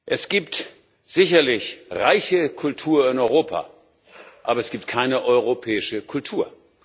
Es gibt sicherlich reiche Kultur in Europa, aber es gibt keine europäische Kultur.